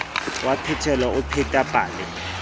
wa phetelo o pheta pale